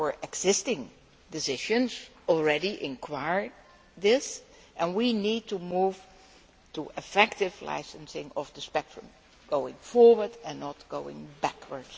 Existing positions already require this, and we need to move to effective licensing of the spectrum going forward and not going backward.